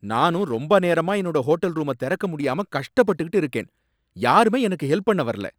நானும் ரொம்ப நேரமா என்னோட ஹோட்டல் ரூம திறக்க முடியாம கஷ்டப்பட்டுட்டு இருக்கேன், யாருமே எனக்கு ஹெல்ப் பண்ண வரல